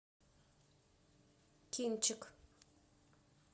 кинчик